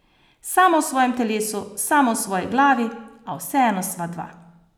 Sama v svojem telesu, sama v svoji glavi, a vseeno sva dva.